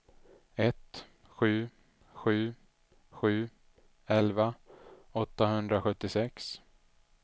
ett sju sju sju elva åttahundrasjuttiosex